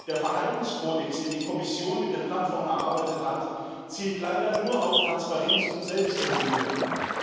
Der Verhaltenskodex, den die Kommission mit der Plattform erarbeitet hat, zielt leider nur auf Transparenz und Selbstregulierung ab.